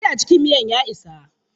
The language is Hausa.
Kori a cikin miyan ya isa.